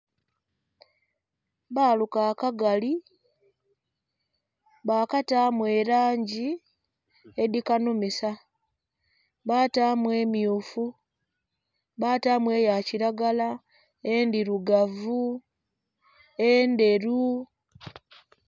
baaluka akagali bataamu elangi edhikanhumisa, bataamu emyufu, bataamu eyakilagala, endhirugavu, endheru.